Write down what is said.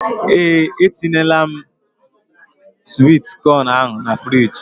Ee etinyela m swit con ahụ na fruidge.